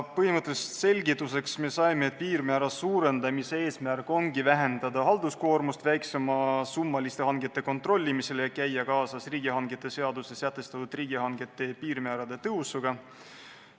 Põhimõtteliselt saime selgituseks, et piirmäära suurendamise eesmärk ongi vähendada halduskoormust väiksemasummaliste hangete kontrollimisel ja käia kaasas riigihangete seaduses sätestatud riigihangete piirmäärade tõusuga.